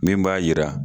Min b'a yira